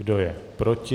Kdo je proti?